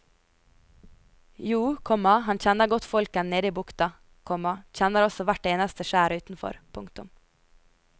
Jo, komma han kjenner godt folkene nede i bukta, komma kjenner også hvert eneste skjær utenfor. punktum